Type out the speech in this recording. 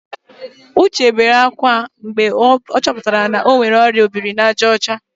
Uche bere ákwá mgbe ọ chọputara na ọ nwere ọrịa obirinajaọcha